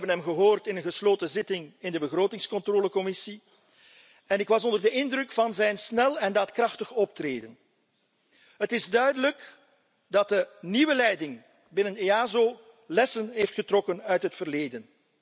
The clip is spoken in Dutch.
We hebben hem gehoord in een gesloten zitting in de Commissie begrotingscontrole en ik was onder de indruk van zijn snel en daadkrachtig optreden. Het is duidelijk dat de nieuwe leiding binnen EASO lessen heeft getrokken uit het verleden.